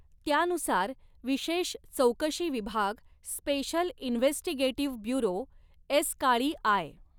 त्यानुसार, विशेष चौकशी विभाग स्पेशल इन्व्हेस्टिगेटिव्ह ब्यूरो एसकाळीआय.